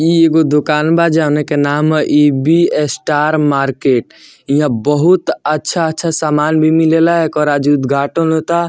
इ एगो दुकान बा जोना के नाम ह इ.बी. स्टार मार्केट | यह बहुत अच्छा अच्छा सामान भी मिलेला | एकर आज उद्घाटन होता |